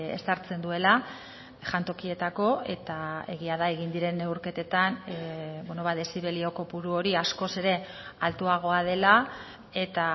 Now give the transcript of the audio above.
ezartzen duela jantokietako eta egia da egin diren neurketetan dezibelio kopuru hori askoz ere altuagoa dela eta